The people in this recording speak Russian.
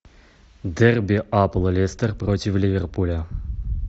дерби апл лестер против ливерпуля